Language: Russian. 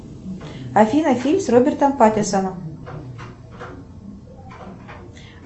афина фильм с робертом паттинсоном